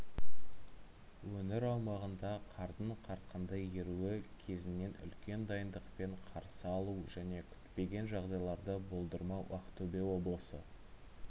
өңір аумағында қардың қарқынды еруі кезеңін үлкен дайындықпен қарсы алу және күтпеген жағдайларды болдырмау ақтөбе облысы